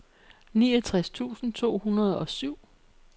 niogtres tusind to hundrede og syv